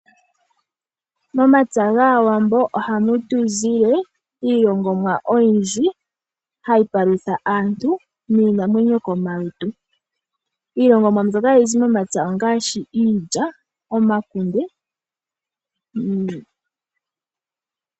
Momapya gAawambo ohamu tu zile iilongomwa oyindji, hayi palutha aantu niinamwenyo komalutu . Iilongamwa mbyoka ha yi zi momapya ongaashi ; iilya ,omakunde.